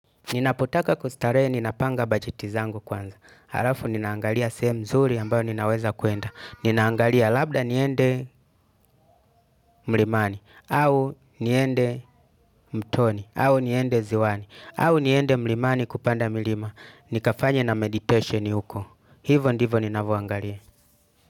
Ninapotaka kustarehe, ninapanga bajetizangu kwanza. Halafu, ninaangalia sehemu nzuri ambayo ninaweza kwenda. Ninaangalia labda niende mlimani, au niende mtoni, au niende ziwani, au niende mlimani kupanda milima. Nikafanye na meditation huko hivyo ndivyo, ninavyoangalia.